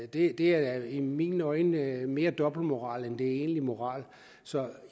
det er i mine øjne mere dobbeltmoral end det er egentlig moral så